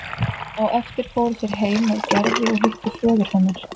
Á eftir fóru þeir heim með Gerði og hittu föður hennar.